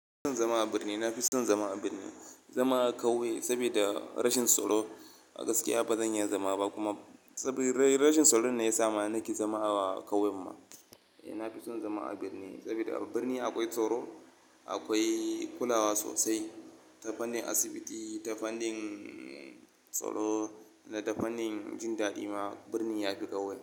Ina son zama a birni. Na fi son zama a birni, zama a kauye saboda rashin tsaro a gaskiya ba zan iya zama ba, kuma saboda rashin tsaro ne ya sa nake zama a kauyen mu. Eh, na fi son zama a birni saboda a birni akwai tsaro, akwai kulawa sosai, ta fannin asibiti, ta fannin tsaro da ta fannin jin daɗi ma birni ya fi kauye.